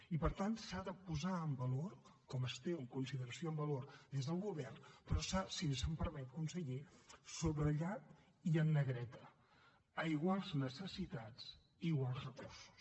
i per tant s’ha de valorar com es té en consideració en valor des del govern però s’ha si se’m permet conseller de subratllar i en negreta a iguals necessitats iguals recursos